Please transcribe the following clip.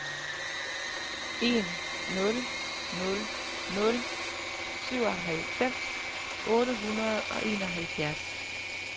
en nul nul nul syvoghalvfems otte hundrede og enoghalvfjerds